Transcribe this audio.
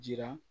Jira